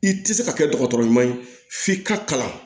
I tɛ se ka kɛ dɔgɔtɔrɔɲuman ye f'i ka kalan